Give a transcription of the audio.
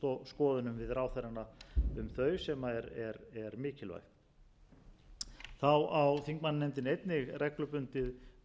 skoðunum við ráðherrana um þau sem er mikilvægt þá á þingmannanefndin einnig reglubundið